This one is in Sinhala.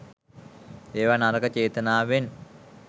ඒවා නරක චේතනාවෙන්